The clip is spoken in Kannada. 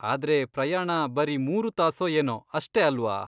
ಆದ್ರೆ ಪ್ರಯಾಣ ಬರೀ ಮೂರು ತಾಸೋ ಏನೋ ಅಷ್ಟೇ ಅಲ್ವಾ.